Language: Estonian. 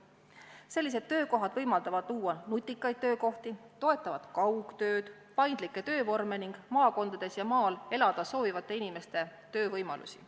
Sellised töökohad võimaldavad luua nutikaid töökohti, toetavad kaugtööd, paindlikke töövorme ning maakondades ja maal elada soovivate inimeste töövõimalusi.